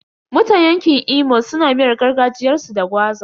Mutan yanƙin Imo suna miyar gargajiyarsu da gwaza.